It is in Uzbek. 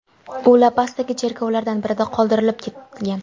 U La-Pasdagi cherkovlardan birida qoldirib ketilgan.